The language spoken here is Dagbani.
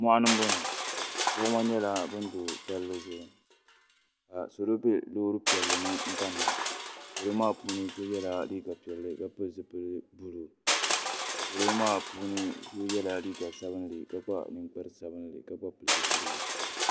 mɔɣini bɔŋɔ gbuɣima nyɛla ban be palli zuɣu ka salo be loori piɛlli ni kani na salo maa puuni so yela liiga piɛlli ka pili zupil' buluu salo maa puuni so yela liiga sabinli ka kpa ninkpar' sabinli ka gba pili zupiligu.